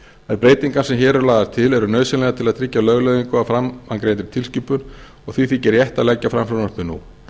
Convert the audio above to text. þær breytingar sem hér eru lagðar til eru nauðsynlegar til að tryggja lögleiðingu á framangreindri tilskipun og því þykir rétt að leggja fram frumvarpið nú